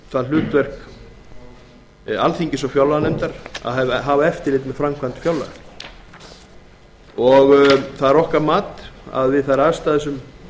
það hlutverk alþingis og fjárlaganefndar að hafa eftirlit með framkvæmd fjárlaga það er okkar mat að við þær aðstæður sem